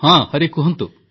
ହଁ ହରି କୁହନ୍ତୁ